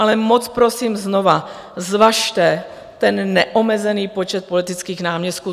Ale moc prosím znovu, zvažte ten neomezený počet politických náměstků.